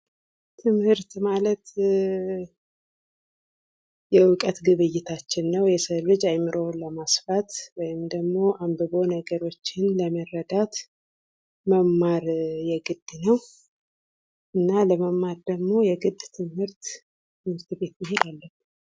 ትምህርት መደበኛ (በተቋም) እና መደበኛ ያልሆነ (ከዕለት ተዕለት ኑሮ) ሊሆን የሚችል ሲሆን የዕድሜ ልክ ሂደት ነው።